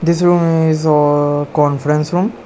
This room is a-a conference room.